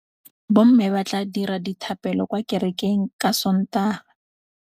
Bommê ba tla dira dithapêlô kwa kerekeng ka Sontaga.